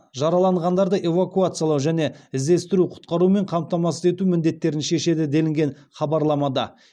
жараланғандарды эвакуациялау және іздестіру құтқарумен қамтамасыз ету міндеттерін шешеді делінген хабарламада